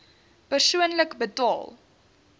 persoonlik betaal